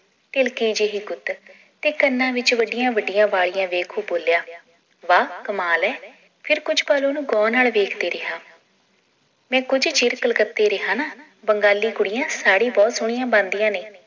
ਧਿਲਕੀ ਜਿਹੀ ਗੁੱਤ ਤੇ ਕੰਨਾਂ ਵਿਚ ਵੱਡੀਆਂ ਵੱਡੀਆਂ ਵਾਲੀਆਂ ਦੇਖ ਉਹ ਬੋਲਿਆ ਵਾਹ ਕਮਾਲ ਏ ਫਿਰ ਕੁਝ ਪੱਲ ਓਹਨੂੰ ਗੌਰ ਨਾਲ ਵੇਖਦਾ ਰਿਹਾ ਮੈ ਕੁਝ ਚਿਰ ਕਲਕੱਤੇ ਰਿਹਾ ਨਾ ਬੰਗਾਲੀ ਕੁੜੀਆਂ ਸਾੜੀ ਬਹੁਤ ਸੋਹਣੀਆਂ ਬੰਨਦੀਆਂ ਨੇ